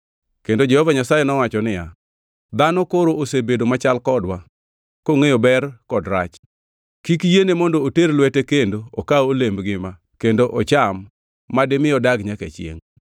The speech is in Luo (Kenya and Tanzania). Kendo Jehova Nyasaye nowacho niya, “Dhano koro osebedo machal kodwa, kongʼeyo ber kod rach. Kik yiene mondo oter lwete kendo okaw olemb ngima kendo ocham madimi odag nyaka chiengʼ.”